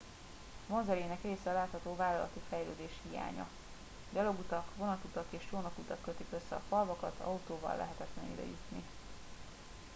vonzerejének része a látható vállalati fejlődés hiánya gyalogutak vonatutak és csónakutak kötik össze a falvakat autóval lehetetlen ide jutni